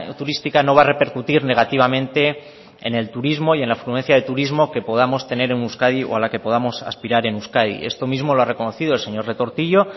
turística no va a repercutir negativamente en el turismo y en la afluencia de turismo que podamos tener en euskadi o a la que podamos aspirar en euskadi esto mismo lo ha reconocido el señor retortillo